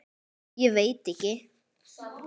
Ég veit ekki.